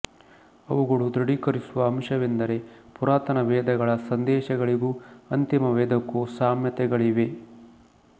ಅವುಗಳ ದೃಢೀಕರಿಸುವ ಅಂಶವೆಂದರೆ ಪುರಾತನ ವೇದಗಳ ಸಂದೇಶಗಳಿಗೂ ಅಂತಿಮ ವೇದಕ್ಕೂ ಸಾಮ್ಯತೆಗಳಿವೆ